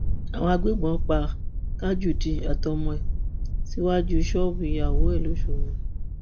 àwọn agbébọn pa tajudeen àtọmọ rẹ síwájú ṣọọbù ìyàwó rẹ lọṣọgbó